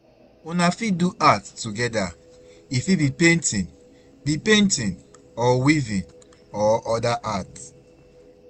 Una fit do art together, e fit be painting be painting or weaving or oda art